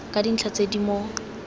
ka dintlha tse di mo